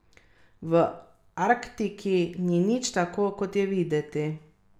V Arktiki ni nič tako, kot je videti.